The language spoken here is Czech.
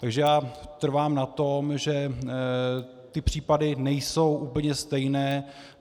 Takže já trvám na tom, že ty případy nejsou úplně stejné.